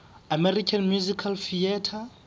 american musical theatre